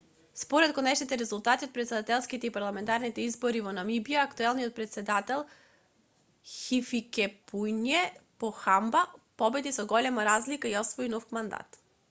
според конечните резултати од претседателските и парламентарните избори во намибија актуелниот претседател хификепунје похамба победи со голема разлика и освои нов мандат